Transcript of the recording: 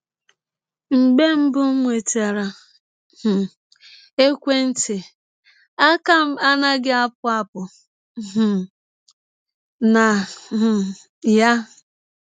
“ Mgbe mbụ m nwetara um ekwe ntị, aka m anaghị apụ apụ um na um ya.